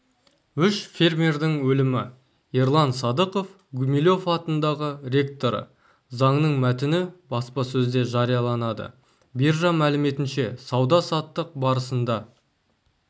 үш фермердің өлімі ерлан сыдықов гумилев атындағы ректоры заңның мәтіні баспасөзде жарияланады биржа мәліметінше сауда-саттық барысында